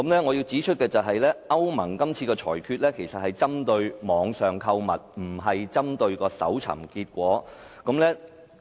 我要指出的是，歐盟是次裁決其實是針對網上購物，而非互聯網搜尋結果。